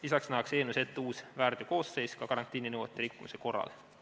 Lisaks nähakse eelnõus ette uus väärteokoosseis ka karantiininõuete rikkumise korral.